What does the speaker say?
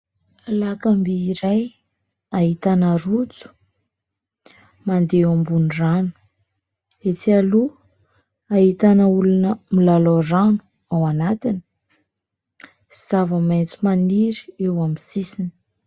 Lakamby iray, hahitana rojo, mandeha eo ambonin'ny rano. Etsy aloha, ahitana olona milalao rano ao anatiny; zava-maitso maniry eo amin'ny sisiny.